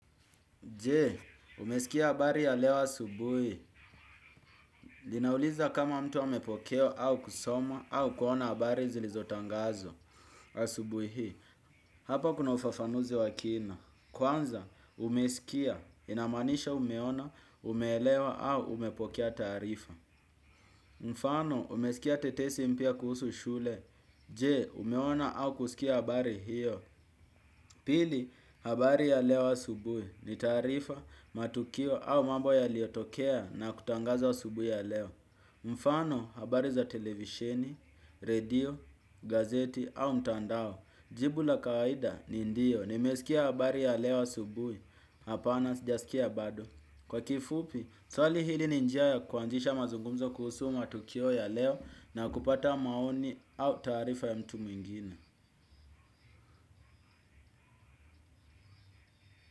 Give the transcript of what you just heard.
Je, umesikia habari ya leo asubuhi. Linauliza kama mtu amepokea au kusoma au kuona habari zilizotangazwa asubui hii. Hapa kuna ufafanuzi wa kina. Kwanza, umesikia, inamaanisha umeona, umeelewa au umepokea taarifa. Mfano, umesikia tetesi mpya kuhusu shule. Je, umeona au kusikia habari hiyo. Pili, habari ya leo asubui ni taarifa, matukio au mambo yaliyotokea na kutangazwa asubui ya leo. Mfano, habari za televisheni, redio, gazeti au mtandao. Jibu la kawaida ni ndio nimesikia habari ya leo asubui, hapana sijasikia bado. Kwa kifupi, swali hili ni njia ya kuanzisha mazungumzo kuhusu matukio ya leo na kupata maoni au taarifa ya mtu mwingine.